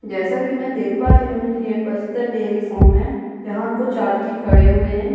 जैसा कि मैं देख पा रही हूँ ये बस्तर डेरी फॉर्म है जहाँ कुछ आदमी खड़े हुए हैं।